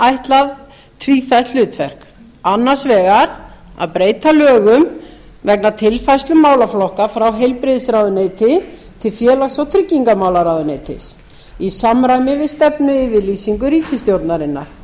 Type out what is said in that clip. ætlað tvíþætt hlutverk annars vegar að breyta lögum vegna tilfærslu málaflokka frá heilbrigðisráðuneyti til félags og tryggingamálaráðuneytis í samræmi við stefnuyfirlýsingar ríkisstjórnarinnar